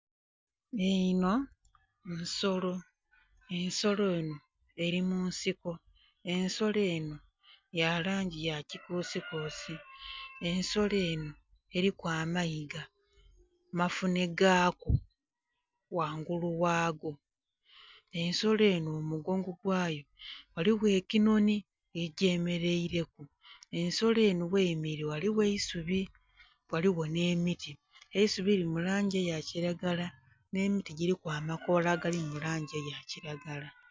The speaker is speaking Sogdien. Enho nsolo, ensolo enho eli mu nsiko. Ensolo enho ya langi ya kikuusikuusi. Ensolo enho eliku amayiga mafunhegaku ghangulu ghago. Ensolo enho mu mugongo gwayo ghaligho ekinhonhi ekigyemeleileku. Ensolo enho gheyemeleile ghaligho eisubi ghaligho nh'emiti. Eisubi lili mu langi eya kilagala, nh'emiti giliku amakoola agali mu langi eya kilagala